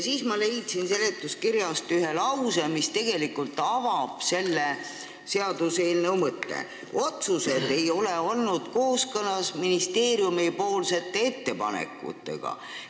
Ma leidsin seletuskirjast ühe lause, mis tegelikult avab selle seaduseelnõu mõtte: "Nii pole tihtipeale otsused kooskõlas ministeeriumite poolt tehtud ettepanekutega.